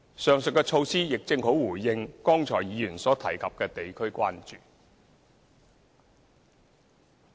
上述的措施亦正好回應議員剛才所提及的地區關注。